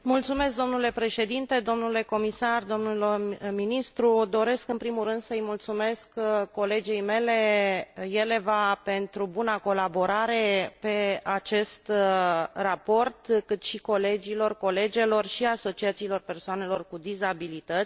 Domnule președinte, domnule comisar, domnule ministru, doresc în primul rând să îi mulțumesc colegei mele Jeleva pentru buna colaborare pe acest raport, cât și colegilor, colegelor și asociațiilor persoanelor cu dizabilități.